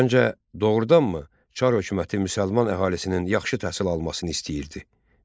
Səncə, doğrudanmı Çar hökuməti müsəlman əhalisinin yaxşı təhsil almasını istəyirdi?